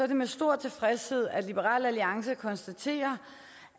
det med stor tilfredshed at liberal alliance konstaterer